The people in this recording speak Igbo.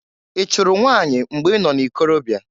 I chụrụ nwanyị mgbe i nọ n'ikorobia?